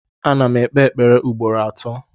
Ana m ekpe ekpere ugboro atọ